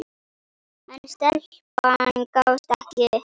En stelpan gafst ekki upp.